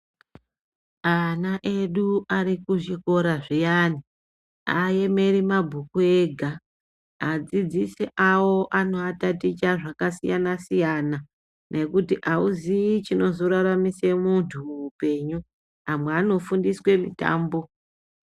Ana edu ari kuzvikora zviyani ,aaemeri mabhuku ega. Adzidzisi avo anoataticha zvakasiyana-siyana, nekuti auziyi chinozoraramise muntu muupenyu. Amwe anofundiswe mitambo.